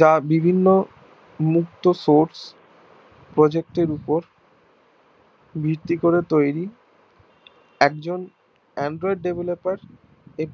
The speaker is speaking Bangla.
যা বিভিন্ন মুক্ত Source প্রযুক্তির উপর ভিত্তি করে তৈরি একজন Android developer